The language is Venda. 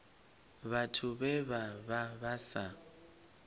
vhathu vhe vha vha sa